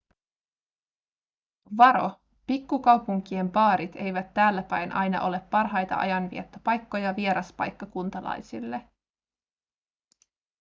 varo pikkukaupunkien baarit eivät täälläpäin aina ole parhaita ajanviettopaikkoja vieraspaikkakuntalaisille